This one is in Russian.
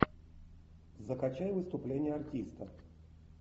закачай выступление артиста